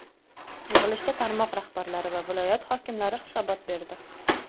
Yig‘ilishda tarmoq rahbarlari va viloyat hokimlari hisobot berdi.